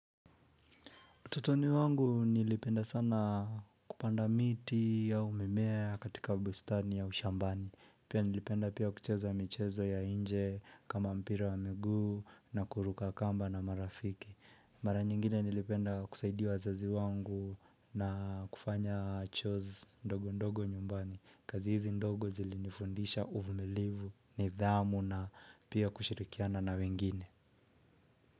Totoni wangu nilipenda sana kupanda miti au mimea katika bustani ya ushambani. Pia nilipenda pia kucheza michezo ya inje kama mpira wa miguu na kuruka kamba na marafiki. Mara nyingine nilipenda kusaidia wazazi wangu na kufanya chores ndogo ndogo nyumbani. Kazi hizi ndogo zilinifundisha uvumilivu ni dhamu na pia kushirikiana na wengine.